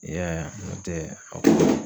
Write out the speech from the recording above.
I y'a ye a, nɔntɛ a